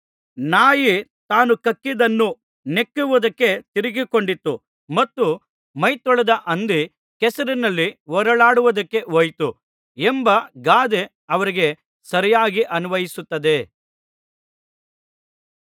ನಾಯಿ ತಾನು ಕಕ್ಕಿದ್ದನ್ನು ನೆಕ್ಕುವುದಕ್ಕೆ ತಿರುಗಿಕೊಂಡಿತು ಮತ್ತು ಮೈತೊಳೆದ ಹಂದಿ ಕೆಸರಿನಲ್ಲಿ ಹೊರಳಾಡುವುದಕ್ಕೆ ಹೋಯಿತು ಎಂಬ ಗಾದೆ ಅವರಿಗೆ ಸರಿಯಾಗಿ ಅನ್ವಯಿಸುತ್ತದೆ